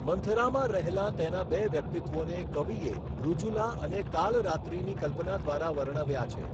મંથરામાં રહેલાં તેનાં બે વ્યક્તિત્વોને કવિએ ઋજુલા અને કાલરાત્રિની કલ્પના દ્વારા વર્ણવ્યા છે.